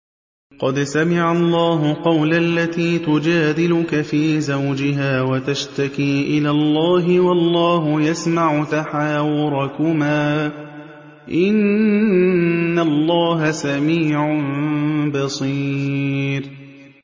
قَدْ سَمِعَ اللَّهُ قَوْلَ الَّتِي تُجَادِلُكَ فِي زَوْجِهَا وَتَشْتَكِي إِلَى اللَّهِ وَاللَّهُ يَسْمَعُ تَحَاوُرَكُمَا ۚ إِنَّ اللَّهَ سَمِيعٌ بَصِيرٌ